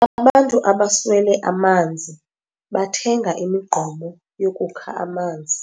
Abantu abaswele amanzi bathenga imigqomo yokukha amanzi.